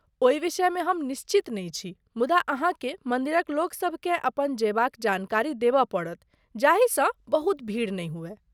ओहि विषयमे हम निश्चित नहि छी मुदा अहाँकेँ मन्दिरक लोकसभ केँ अपन जयबाक जानकारी देबय पड़त जाहिसँ बहुत भीड़ नहि हुअय।